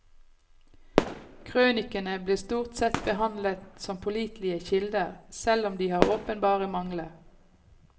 Krønikene blir stort sett behandlet som pålitelige kilder, selv om de har åpenbare mangler.